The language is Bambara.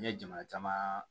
N ye jama caman